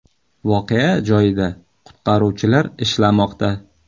Voqea joyida qutqaruvchilar ishlamoqda.